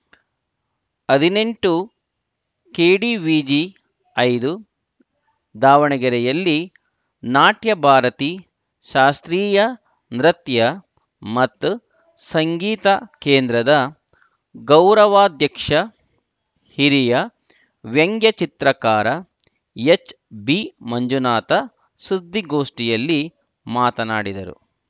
ಹದಿನೆಂಟು ಕೆಡಿವಿಜಿ ಐದು ದಾವಣಗೆರೆಯಲ್ಲಿ ನಾಟ್ಯ ಭಾರತಿ ಶಾಸ್ತ್ರೀಯ ನೃತ್ಯ ಮತ್ತು ಸಂಗೀತ ಕೇಂದ್ರದ ಗೌರವಾಧ್ಯಕ್ಷ ಹಿರಿಯ ವ್ಯಂಗ್ಯ ಚಿತ್ರಕಾರ ಎಚ್‌ಬಿಮಂಜುನಾಥ ಸುದ್ದಿಗೋಷ್ಠಿಯಲ್ಲಿ ಮಾತನಾಡಿದರು